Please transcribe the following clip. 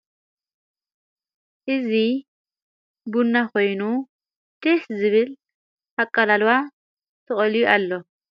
እዙ ብና ኾይኑ ድስ ዝብል ኣቃላልዋ ተቐልዩ ኣሎ::